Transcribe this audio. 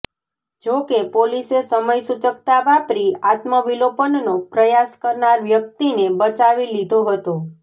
જોકે પોલીસે સમયસૂચકતા વાપરી આત્મવિલોપનનો પ્રયાસ કરનાર વ્યક્તિને બચાવી લીધો હતો